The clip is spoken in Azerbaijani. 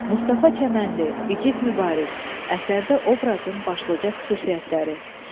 Mustafa Çəmənli, İgid Mübariz əsərdə obrazın başlıca xüsusiyyətləri.